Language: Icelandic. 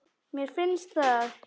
Mér finnst það.